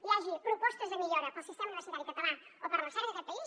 hi hagi propostes de millora per al sistema universitari català o per a recerca en aquest país